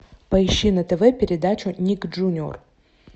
поищи на тв передачу ник джуниор